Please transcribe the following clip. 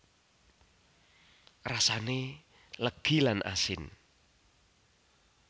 Rasane legi lan asin